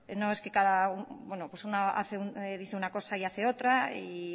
no es que uno hace una cosa y hace otra y